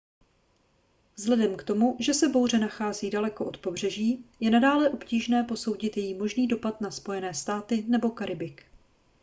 vzhledem k tomu že se bouře nachází daleko od pobřeží je nadále obtížné posoudit její možný dopad na spojené státy nebo karibik